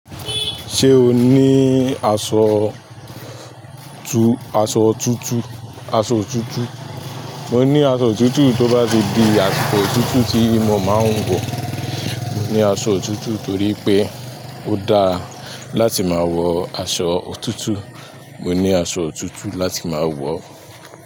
Ṣé o ní aṣọ tu-- aṣọ tútu, aṣọ òtútù? Mo ní aṣọ òtútù tó bá ti di àsìkò òtútù tí mo máa ń wọ̀. Mo ní aṣọ òtútù torí pé ó dáa láti máa wọ aṣọ òtútù. Mo ní aṣọ tútu láti máa wọ.